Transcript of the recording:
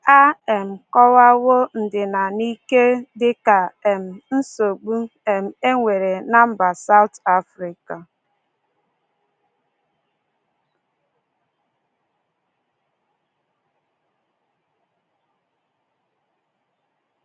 A um kọwawo ndina n’ike dị ka um nsogbu um e nwere ná mba South Africa.